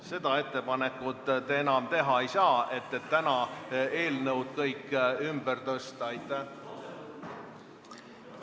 Seda ettepanekut, et kõik tänased eelnõud ümber tõsta, te enam teha ei saa.